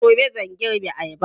Gobe zan girbe ayaba